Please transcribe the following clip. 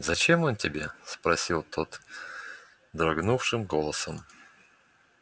зачем он тебе спросил тот дрогнувшим голосом